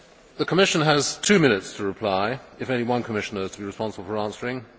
The Commission has two minutes to reply if only one Commissioner is to be responsible for answering.